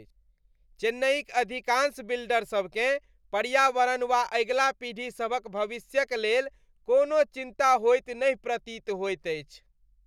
चेन्नइक अधिकांश बिल्डरसभकेँ पर्यावरण वा अगिला पीढ़ीसभक भविष्यक लेल कोनो चिन्ता होइत नहि प्रतीत होइत अछि।